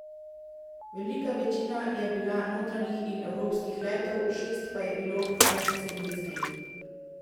Velika večina je bila notranjih in evropskih letov, šest pa je bilo medcelinskih.